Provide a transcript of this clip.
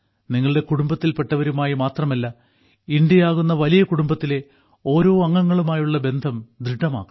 നിങ്ങളുടെ കുടുംബത്തിൽപ്പെട്ടവരുമായി മാത്രമല്ല ഇന്ത്യയാകുന്ന വലിയ കുടുംബത്തിലെ ഓരോ അംഗങ്ങളുമായുള്ള ബന്ധം ദൃഢമാക്കണം